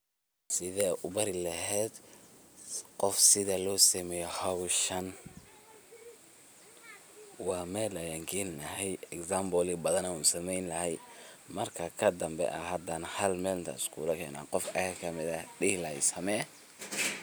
Sideed u bari lahayd qof sida loo sameeyo hawshan, waa Mel ayan geyn laahay, example yaa bathaan ayan u sameyni lahaay, markaa kadanbe, a hadana hal Mel inta iskugu keno, qof ayaka kamiid ah dihi lahaay samee.